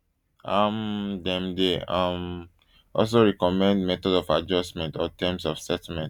um dem dey um also recommend methods of adjustment or terms of settlement